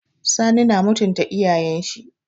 Sani na mutunta iyayen shi.